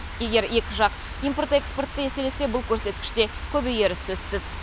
егер екі жақ импорт экспортын еселесе бұл көрсеткіш те көбейері сөзсіз